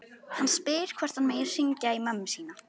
Hann spyr hvort hann megi hringja í mömmu sína.